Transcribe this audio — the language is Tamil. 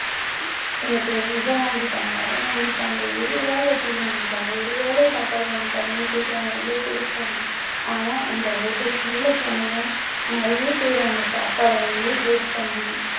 எனக்கு இதை வாங்கி தாங்க அதை வாங்கி தாங்க ஒருவேளை tea வாங்கி தாங்க ஒருவேளை சாப்பாடு வாங்கி தாங்கன்னு கேட்கிறவங்க எவ்வளவு பேர் இருக்காங்க ஆனா அந்த hotel க்கு உள்ளே போனதும் நிறைய பேர் அந்த சாப்பாடை வந்து waste பண்ணுவாங்க